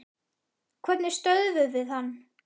Hvernig stöðvum við hann?